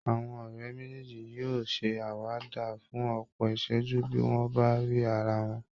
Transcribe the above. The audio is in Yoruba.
Àwọn ọ̀rẹ́ méjèèjì yóò ṣe àwàdà fún ọ̀pọ̀ ìṣẹ́jú bí wọ́n bá rí ara wọn